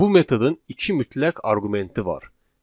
Bu metodun iki mütləq arqumenti var.